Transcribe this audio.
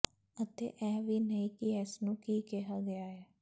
ਅਤੇ ਇਹ ਵੀ ਨਹੀਂ ਕਿ ਇਸਨੂੰ ਕੀ ਕਿਹਾ ਗਿਆ ਹੈ